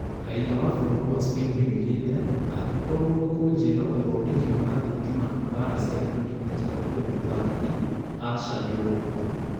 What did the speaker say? Raiya wa bũrũri wa Spain nĩoigĩte "angĩkorwo nĩkũnjĩra ũthondeki wa thitima na mbara cia ngundi nĩnjega kũrĩ mũthaki; acha nĩũgwati